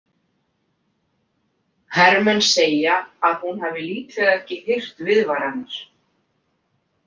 Hermenn segja að hún hafi líklega ekki heyrt „viðvaranir“.